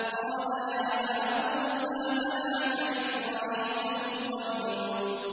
قَالَ يَا هَارُونُ مَا مَنَعَكَ إِذْ رَأَيْتَهُمْ ضَلُّوا